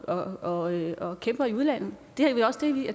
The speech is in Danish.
og